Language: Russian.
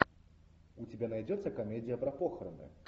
у тебя найдется комедия про похороны